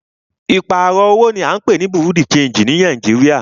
Ìpààrọ̀ owó ní à ń pé ní Bureau de changii ní Nàìjíríà.